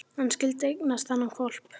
Hann skyldi eignast þennan hvolp!